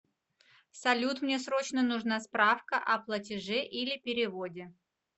салют мне срочно нужна справка о платеже или переводе